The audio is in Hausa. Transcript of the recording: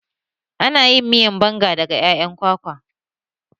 Ana yin miyar banga daga ƴaƴan kwakwa